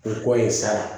O kɔ ye sa